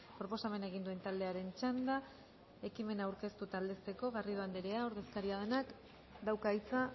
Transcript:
proposamena egin duen taldearen txanda ekimena aurkeztu eta aldezteko garrido andrea ordezkaria denak dauka hitza